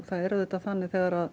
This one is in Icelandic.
það er þannig að þegar